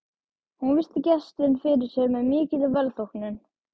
Hún virti gestinn fyrir sér með mikilli velþóknun.